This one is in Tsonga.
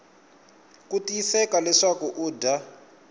ku tiyiseka leswaku u dya